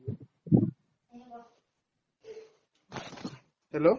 hello